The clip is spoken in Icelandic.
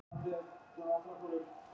Safnað hefur Helgi Guðmundsson.